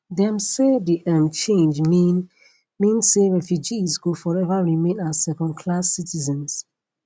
dem say di um change mean mean say refugees go forever remain as second class citizens